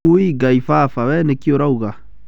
Uuwi! Ngai baba! we nĩkĩ ũrauga?